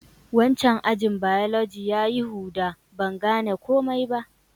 Wancan ajin biology ya yi huda. Ban gane komi ba.